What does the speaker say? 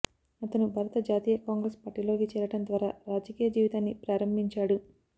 అతను భారత జాతీయ కాంగ్రెస్ పార్టీలోకి చేరడం ద్వారా రాజకీయ జీవితాన్ని ప్రారంభించాడు